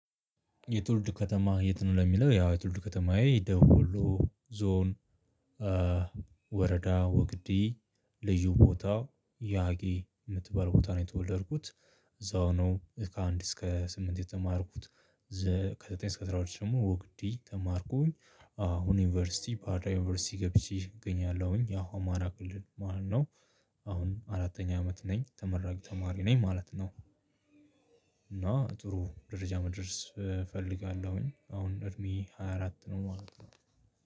የትውልድ ከተማህ የት? ነው ለሚለው ያው የትውልድ ከተማየ ደቡብ ዎሎ ዞን። ወረዳ ወግዲ ልዩ ቦታው ያጊ የምትባል ቦታ ነው። የተወለድኩት እዛው ነው ከአንድ እስከ ስምንት የተማርኩት። ከዘጠኝ እስከ አስራሁለት ደግሞ ወግዲ ተማርኩኝ አሁን ዩንቨርስቲ ባህርዳር ዩኒቨርሲቲ ገብቼ እገኛለሁኝ። ያው አማራ ክልል ማለት ነው። አሁን አራተኛ አመት ነኝ ተመራቂ ተማሪ ነኝ ማለት ነው። እና ጥሩ ደረጃ መድረስ እፈልጋለሁኝ አሁን እድሜ ሃያ አራት ነው ማለት ነው።